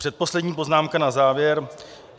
Předposlední poznámka na závěr.